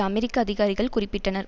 அமெரிக்க அதிகாரிகள் குறிப்பிட்டனர்